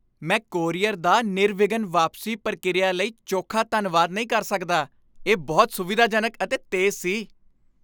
ਮੈਂ ਕੋਰੀਅਰ ਦਾ ਨਿਰਵਿਘਨ ਵਾਪਸੀ ਪ੍ਰਕਿਰਿਆ ਲਈ ਚੋਖਾ ਧੰਨਵਾਦ ਨਹੀਂ ਕਰ ਸਕਦਾ, ਇਹ ਬਹੁਤ ਸੁਵਿਧਾਜਨਕ ਅਤੇ ਤੇਜ਼ ਸੀ।